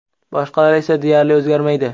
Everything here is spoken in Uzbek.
Boshqalar esa deyarli o‘zgarmaydi.